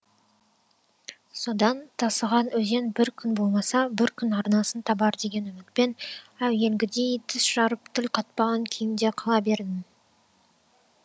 содан тасыған өзен бір күн болмаса бір күн арнасын табар деген үмітпен әуелгідей тіс жарып тіл қатпаған күйімде қала бердім